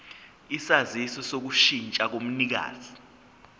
isaziso sokushintsha komnikazi